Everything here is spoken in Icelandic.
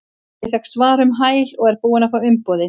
Ég fékk svar um hæl og er búinn að fá umboðið.